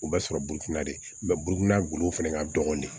U bɛ sɔrɔ burufunna de burukina gulo fɛnɛ ka dɔgɔn de